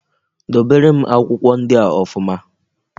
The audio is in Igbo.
Dobere m akwụkwọ ndịa ọfụma